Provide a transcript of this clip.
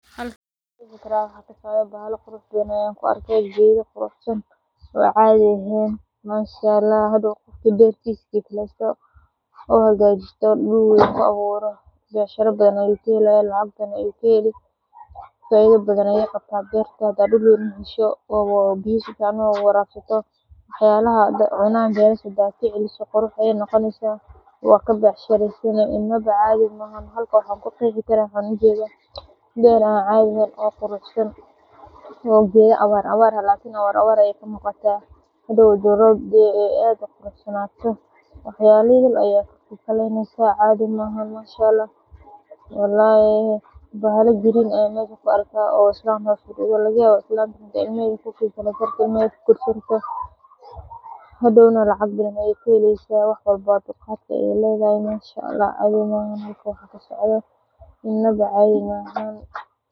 Halkan waxa ka socda bahala fara badan oo biyo lawarabsato goosanaya waa inuu gashan yahay gacmo gashi iyo dhar difaac ah si uu uga badbaado dhaawacyo iyo caarada baaqada. Marka la is waafajiyo xirfad, qalab sax ah, iyo feejignaan, waxaa la heli karaa goosasho badbaado leh oo tayadeeda iyo midhaha ka dhashaaba ay wanaagsan yihiin inaba cadhi maahan.